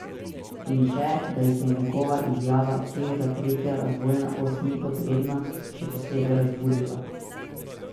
In še, da jih je njegova izjava, češ da tretja razvojna os ni potrebna, še posebej razburila.